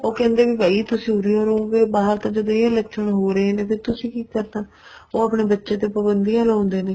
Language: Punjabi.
ਉਹ ਕਹਿੰਦੇ ਵੀ ਭਾਈ ਤੁਸੀਂ ਉਰੇ ਹੀ ਰਹੋ ਬਾਹਰ ਤਾਂ ਜਦ ਇਹ ਲੱਛਣ ਹੋ ਰਹੇ ਨੇ ਫ਼ੇਰ ਤੁਸੀਂ ਕੀ ਕਰਨਾ ਉਹ ਆਪਣੇ ਬੱਚੇ ਤੇ ਪਾਬੰਦੀਆਂ ਲਾਉਦੇ ਨੇ